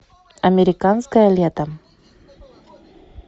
американское лето